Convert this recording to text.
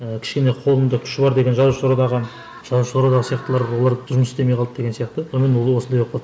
і кішкене қолында күші бар деген жазушылар одағы жазушылар одағы сияқтылар олар жұмыс істемей қалды да деген сияқты сонымен ол осындай болып қалды